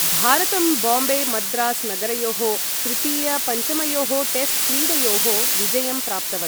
भारतं बाम्बे मद्रास् नगरयोः तृतीय पञ्चमयोः टेस्ट क्रीडयोः विजयं प्राप्तवत्।